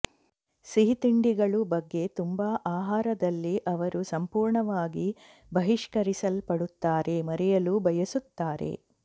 ಸಿಹಿತಿಂಡಿಗಳು ಬಗ್ಗೆ ತುಂಬಾ ಆಹಾರದಲ್ಲಿ ಅವರು ಸಂಪೂರ್ಣವಾಗಿ ಬಹಿಷ್ಕರಿಸಲ್ಪಡುತ್ತಾರೆ ಮರೆಯಲು ಬಯಸುತ್ತಾರೆ